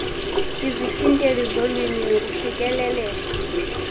izithintelo zolwimi nokufikelela